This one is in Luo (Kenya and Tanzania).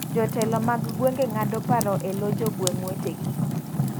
Jotelo mag gweng'e ng'ado paro e lo jogweng' wete gi.